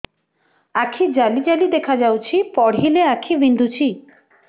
ଆଖି ଜାଲି ଜାଲି ଦେଖାଯାଉଛି ପଢିଲେ ଆଖି ବିନ୍ଧୁଛି